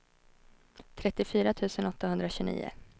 trettiofyra tusen åttahundratjugonio